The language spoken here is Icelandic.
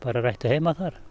þær ættu heima þar